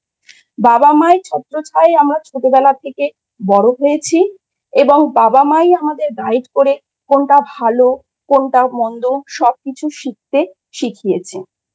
বাবা মায়ের ছত্রচ্ছায়া আমরা ছোটবেলা থেকে বড় হয়েছি এবং বাবা মা-ই আমাদের Guide করে কোনটা ভালো কোনটা মন্দ সব কিছু শিখতে শিখিয়েছে।